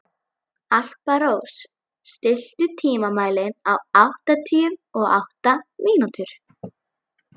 Alparós, stilltu tímamælinn á áttatíu og átta mínútur.